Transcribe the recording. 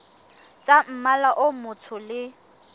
tsa mmala o motsho le